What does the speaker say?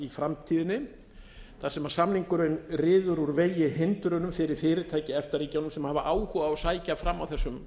framtíðinni þar sem samningurinn ryður úr vegi hindrunum fyrir fyrirtæki í efta ríkjunum sem hafa áhuga á að sækja fram á þessum